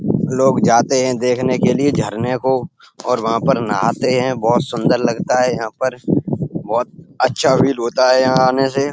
लोग जाते हैं देखने के लिये झरने को और वहां पर नहाते हैं। बोहोत सुन्दर लगता है यहाँ पर बोहोत अच्छा फील होता है यहाँ आने से।